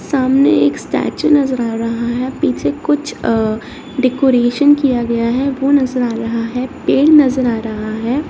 सामने एक स्टैचू नजर आ रहा है पीछे कुछ अ डेकोरेशन किया गया है वो नज़र आ रहा है पेड़ नजर आ रहा है।